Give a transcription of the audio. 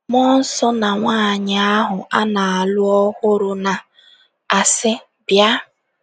“ Mmụọ Nsọ na Nwaanyị ahụ A Na - alụ Ọhụrụ Na - asị: ‘ Bịa! ’”